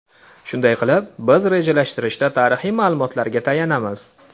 Shunday qilib, biz rejalashtirishda tarixiy ma’lumotlarga tayanamiz.